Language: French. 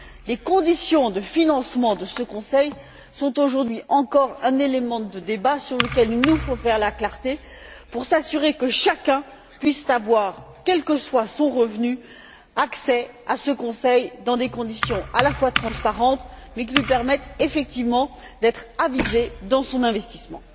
Les conditions de financement de ce conseil sont, aujourd'hui encore, un élément de débat sur lequel il nous faut faire la clarté pour s'assurer que chacun puisse avoir, quel que soit son revenu, accès à ce conseil dans des conditions à la fois transparentes et qui lui permettent, effectivement, d'être avisé dans son investissement.